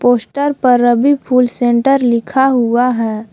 Poster पर Ravi full centre लिखा हुआ है।